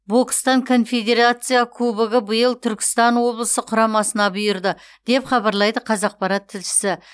бокстан конфедерация кубогы биыл түркістан облысы құрамасына бұйырды деп хабарлайды қазақпарат тілшісі